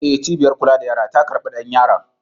E, cibiyar kula da yara ta karɓi ɗan yaron.